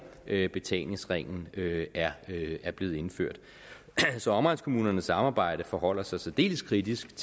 at betalingsringen er er blevet indført så omegnskommunernes samarbejde forholder sig særdeles kritisk